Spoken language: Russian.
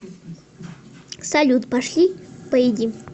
салют пошли поедим